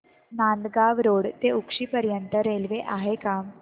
Nandgaon road ते उक्षी पर्यंत railway आहे का